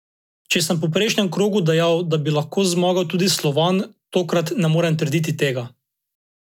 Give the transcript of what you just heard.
Če sem po prejšnjem krogu dejal, da bi lahko zmagal tudi Slovan, tokrat ne morem trditi tega.